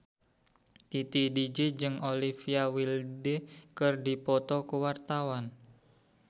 Titi DJ jeung Olivia Wilde keur dipoto ku wartawan